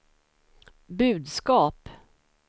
budskap